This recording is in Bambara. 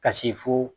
Ka se fo